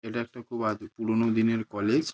এটা একটা খুব আদি পুরোনো দিনের কলেজ ।